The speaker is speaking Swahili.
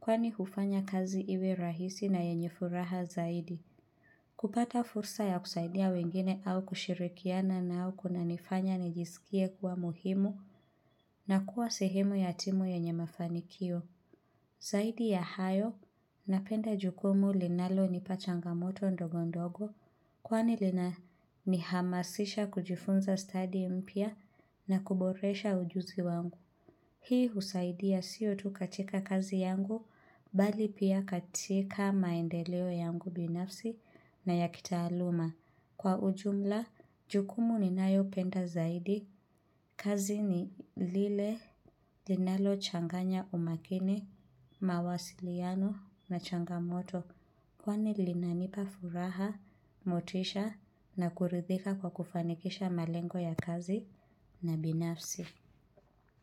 kwani hufanya kazi iwe rahisi na yenye furaha zaidi. Kupata fursa ya kusaidia wengine au kushirikiana nao kuna nifanya nijisikie kuwa muhimu na kuwa sehemu yatimu yenye mafanikio. Zaidi ya hayo, napenda jukumu linalo nipachangamoto ndogo ndogo, kwani lina ni hamasisha kujifunza stadi mpia na kuboresha ujuzi wangu. Hii husaidia siyo tu katika kazi yangu, bali pia katika maendeleo yangu binafsi na ya kitaaluma. Kwa ujumla, jukumu ni nayo penda zaidi, kazi ni lile linalo changanya umakini, mawasiliano na changamoto, kwani linanipa furaha, motisha na kuridhika kwa kufanikisha malengo ya kazi na binafsi.